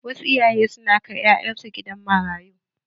Wasu iyaye su na kai ƴaƴan su gidan marayu.